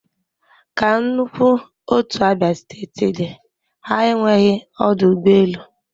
Ka nnukwu otu abia steeti dị ha enweghị ọdụ ụgbọ elu